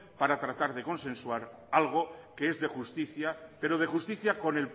para tratar de consensuar algo que es de justicia pero de justicia con